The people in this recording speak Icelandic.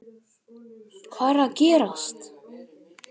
Hvað er að gerast???